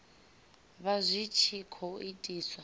vha zwi tshi khou itiswa